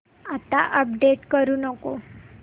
आता अपडेट करू नको